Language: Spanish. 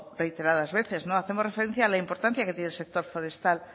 reiteradas veces no hacemos referencia a la importancia que tiene el sector forestal